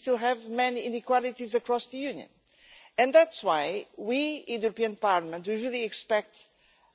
We still have many inequalities across the Union, and that is why we in the European Parliament really expect